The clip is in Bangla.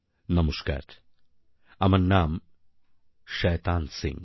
নমস্কার আমার নাম শয়তান সিং